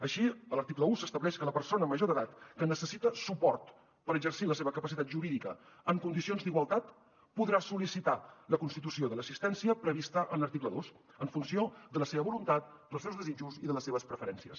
així a l’article un s’estableix que la persona major d’edat que necessita suport per exercir la seva capacitat jurídica en condicions d’igualtat podrà sol·licitar la constitució de l’assistència prevista a l’article dos en funció de la seva voluntat dels seus desitjos i de les seves preferències